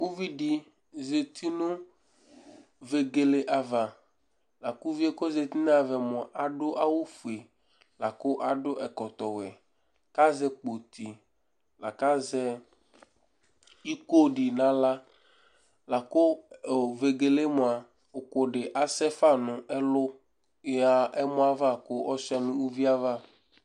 Uvìɖí zɛti ŋu vegele ava Uvíe aɖu awu fʋe, aɖu ɛkɔtɔ ɔwɛ kʋ azɛ kpoti akʋ azɛ iko ɖi ŋu aɣla Laku vegele mʋa ʋku ɖi asɛfa ŋu ɛlu yɔha ɛmɔ ava kʋ ɔjʋa ŋu ʋlʋvie ava